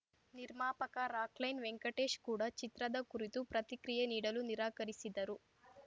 ನಿರ್ಮಾಪಕ Rockline Venkatesh ಕೂಡ ಚಿತ್ರದ ಕುರಿತು ಪ್ರತಿಕ್ರಿಯೆ ನೀಡಲು ನಿರಾಕರಿಸಿದರು